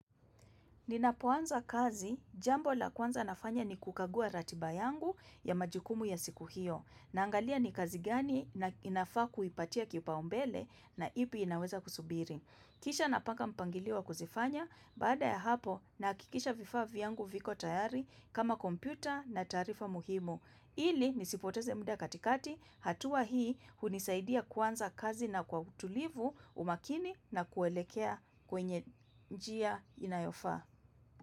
Ninapoanza kazi, jambo la kwanza nafanya ni kukagua ratiba yangu ya majukumu ya siku hiyo, na angalia ni kazi gani na inafaa kuipatia kipa umbele na ipi inaweza kusubiri. Kisha napanga mpangilio wa kuzifanya, baada ya hapo nahakikisha vifaa vyangu viko tayari kama kompyuta na taarifa muhimu. Ili nisipoteze muda katikati, hatua hii hunisaidia kuanza kazi na kwa utulivu umakini na kuelekea kwenye njia inayofaa.